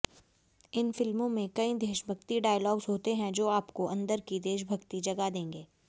इन फिल्मों में कई देशभक्ति डायलॉग्स होते हैं जो आपको अंदर की देशभक्ति जगा देंगे